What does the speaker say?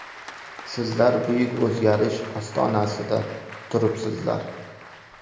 Sizlar buyuk o‘zgarish ostonasida turibsizlar!